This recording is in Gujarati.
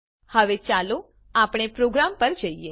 હવે ચાલો આપણા પ્રોગ્રામ પર જઈએ